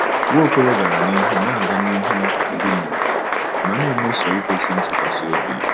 Nwaokolo gara n'ihu na-aga n'ihu, "bi n'ụwa," ma na-emeso ikwesị ntụkwasị obi."